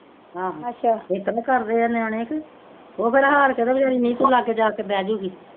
ਆਹ ਏਤਰਾਂ ਕਰਦੇ ਆ ਨਿਆਣੇ ਤੇ ਉਹ ਫੇਰ ਹਾਰ ਕੇ ਤੇ ਵਚਾਰੀ ਨੀਤੂ ਲਾਗੇ ਜਾ ਕੇ ਬੇਹ ਜੁਗੀ